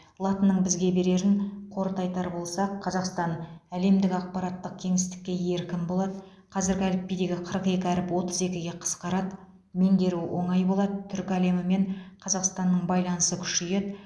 латынның бізге берерін қорыта айтар болсақ қазақстан әлемдік ақпараттық кеңістікке еркін болады қазіргі әліпбидегі қырық екі әріп отыз екіге қысқарады меңгеру оңай болады түркі әлемімен қазақстанның байланысы күшейеді